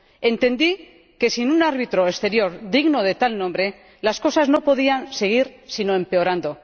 Entendí que, sin un árbitro exterior digno de tal nombre, las cosas no podían seguir sino empeorando.